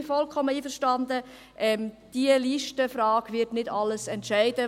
Ich bin vollkommen einverstanden, diese Listenfrage wird nicht alles entscheiden.